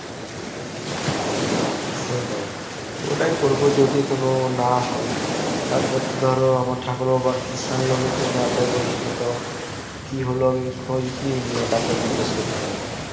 সেইটায় ওটায় করবো যদি কোনো না হয় তার পর তো ধরো আমার ঠাকুরের বা কৃষাণ loan এর জন্য apply করেছিল তো কি হল আমি খোঁজ নিয়েনি ওটা একবার জিজ্ঞেস করতে হবে